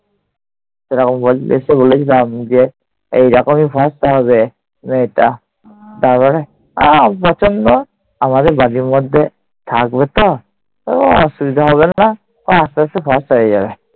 এরকম বলতে এসেছে এই রকমই থাকতে হবে, মেয়েটা তারপরে আর প্রচন্ড আমাদের বাড়ির মধ্যে থাকবে তো? কোনো অসুবিধা হবে না আস্তে আস্তে সব হয়ে যাবে।